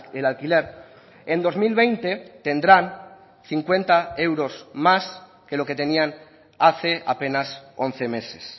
el alquiler en dos mil veinte tendrán cincuenta euros más que lo que tenían hace apenas once meses